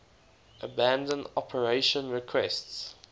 abandon operation requests